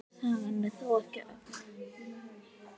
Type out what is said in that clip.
Sagan er þó ekki öll.